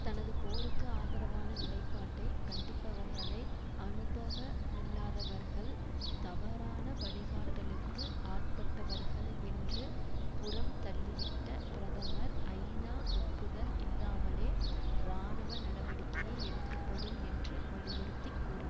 தனது போருக்கு ஆதரவான நிலைப்பாட்டை கண்டிப்பவர்களை அனுபவ மில்லாதவர்கள் தவறான வழிகாட்டலுக்கு ஆட்பட்டவர்கள் என்று புறம் தள்ளிவிட்ட பிரதமர் ஐநா ஒப்புதல் இல்லாமலே இராணுவ நடவடிக்கையை எடுக்கப்படும் என்று வலியுறுத்தி கூறினா